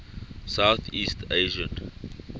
south east asian